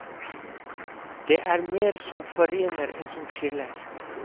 Det er mer som forener enn som skiller.